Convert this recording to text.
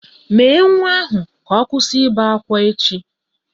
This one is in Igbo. Mèé nwa ahụ ka ọ kwụsị ibe ákwá echi!